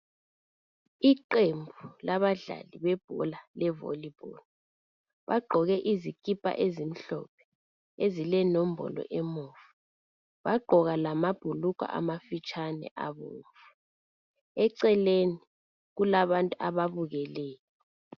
Iqembu labadlali bebhola levolleyball bagqoke izikipa ezimhlophe ezilenombolo emuva bagqoka lamabhulugwa amafitshane abomvu. Eceleni kulabantu ababukeleyo.